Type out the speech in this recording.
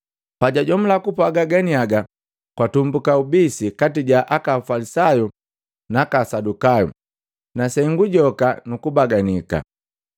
Pajajomula kupwaga ganiaga, gwatumbuka ubisi kati ja aka Afalisayu na aka Asadukayu na sengu joka nukubaganika.